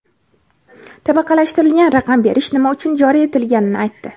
tabaqalashtirilgan raqam berish nima uchun joriy etilganini aytdi:.